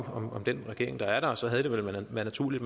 om den regering der er og så havde det vel været naturligt